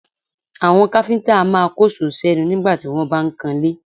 Àwọn káfíńtà a máa kóṣòó sẹ́nu nígbà tí wọ́n bá ń kanlé